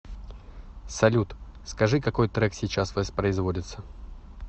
салют скажи какой трек сейчас воспроизводится